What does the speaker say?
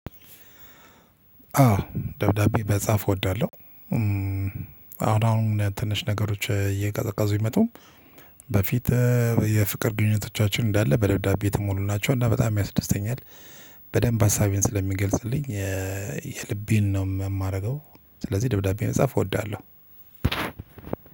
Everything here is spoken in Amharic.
አዎ ደብዳቤ መጻፍ እወዳለሁ። አሁን አሁን ትንሽ ነገሮች እየቀዘቀዙ ቢመጡም በፊት የፍቅር ግንኙነቶቻችን እንዳለ በደብዳቤ የተሞሉ ናቸው። እና በጣም ያስደስተኛል። በደንብ አሳቤን ስለሚገልጽልኝ የልቤን ነው የማደርገው። ስለዚህ ደብዳቤ መጻፍ እወዳለሁ።